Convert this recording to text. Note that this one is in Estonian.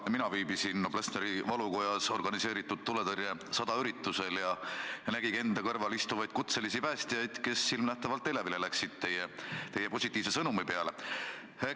Ka mina viibisin Noblessneri valukojas "Organiseeritud tuletõrje 100" üritusel ja nägin ka enda kõrval istuvaid kutselisi päästjaid, kes läksid teie positiivse sõnumi peale silmanähtavalt elevile.